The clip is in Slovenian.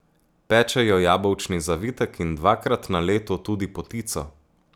Pečejo jabolčni zavitek in dvakrat na leto tudi potico.